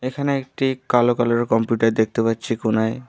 এখানে একটি কালো কালার -এর কম্পিউটার দেখতে পাচ্ছি কোনায়।